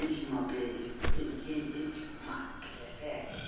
k h r mapenshenara le